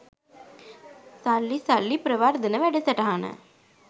සල්ලි සල්ලි ප්‍රවර්ධන වැඩසටහන